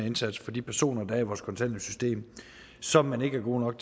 indsats for de personer der er i vores kontanthjælpssystem som man ikke er gode